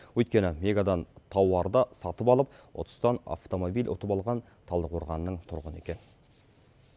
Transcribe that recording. өйткені мегадан тауарды сатып алып ұтыстан автомобиль ұтып алған талдықорғанның тұрғыны екен